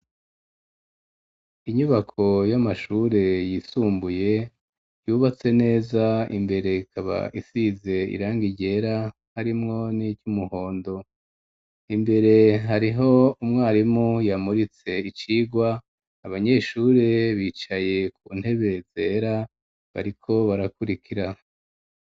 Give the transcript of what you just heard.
Inyubako y'amashuri yisumbuye yubatse neza imbere ikaba isize irangi ryera harimwo n'icumuhondo imbere hariho umwarimu yamuritse icirwa abanyeshuri bicaye ku ntebe zera bariko barakurikira.